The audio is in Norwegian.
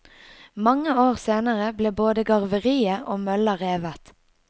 Mange år senere ble både garveriet og mølla revet.